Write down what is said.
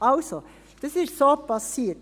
Also, das ist so geschehen.